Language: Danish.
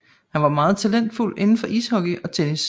Han var meget talentfuld inden for ishockey og tennis